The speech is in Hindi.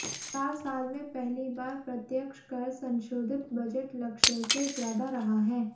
चार साल में पहली बार प्रत्यक्ष कर संशोधित बजट लक्ष्य से ज्यादा रहा है